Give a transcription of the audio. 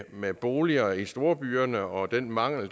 med boliger i storbyerne og den mangel